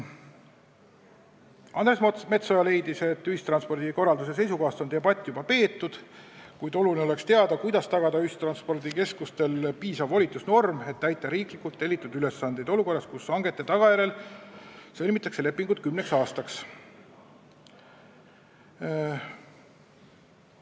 Andres Metsoja leidis, et ühistranspordi korralduse seisukohast on debatt juba peetud, kuid oluline oleks teada, kuidas tagada ühistranspordikeskustele piisav volitusnorm, et täita riiklikult tellitud ülesandeid olukorras, kus hangetega sõlmitakse lepingud kümneks aastaks.